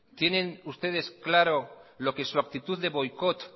tienen ustedes claro lo que su actitud de boicot